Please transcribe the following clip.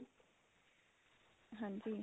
ਹਾਂਜੀ.